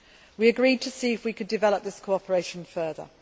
We agreed to see if we could develop this cooperation further.